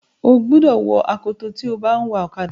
ó gbúdọ̀ wọ akoto tí o bá ń wa ọ̀kadà.